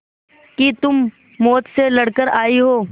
कि तुम मौत से लड़कर आयी हो